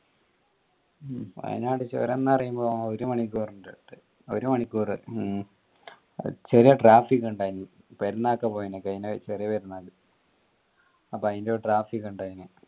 വയനാട് ചുരംന്ന് പറയുമ്പോ ഒരു മണിക്കൂർ ഇണ്ട് ഒരു മണിക്കൂർ ചെറിയ traffic ഇന്ടായിൻ പെരുന്നാക്ക പോയ്ന് കൈന്ന ചെറിയ പെർനാക്ക് അപ്പൊ അയിന്റെ ഒരു traffic ഇന്ടായിൻ